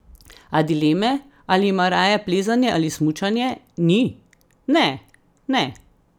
A dileme, ali ima raje plezanje ali smučanje, ni: "Ne, ne.